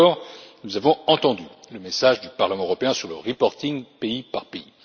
D'abord, nous avons entendu le message du Parlement européen sur le reporting pays par pays.